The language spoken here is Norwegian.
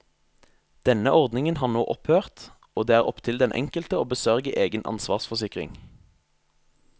Denne ordningen har nå opphørt og det er opptil den enkelte å besørge egen ansvarsforsikring.